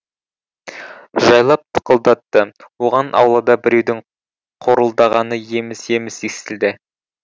жайлап тықылдатты оған аулада біреудің қорылдағаны еміс еміс естілді